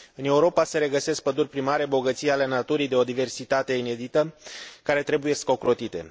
În Europa se regăsesc păduri primare, bogății ale naturii de o diversitate inedită, care trebuie ocrotite.